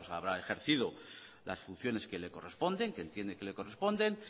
habrá ejercido las funciones que le corresponde que entiende que le corresponden